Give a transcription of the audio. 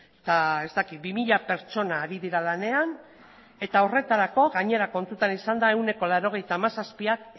eta ez dakit bi mila pertsona ari dira lanean eta gainera kontutan izanda ehuneko laurogeita hamazazpiak